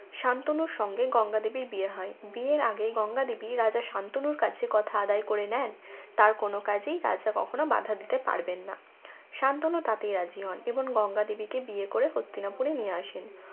শান্তনুর সঙ্গে গঙ্গা দেবীর বিয়ে হয় বিয়ের আগে গঙ্গা দেবী রাজা শান্তনুর কাছে কথা আদায় করে নেয় তার কোন কাজেই কোন বাধা দিতে পারবেন না শান্তনু তাতেই রাজি হন এবং গঙ্গা দেবীকে বিয়ে করে হস্তিনাপুরে নিয়ে আসেন